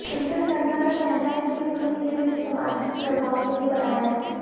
twinkle Khanna का कहना है कि उन्होंने ये फिल्म सामाजिक प्रभाव के लिए बनाया है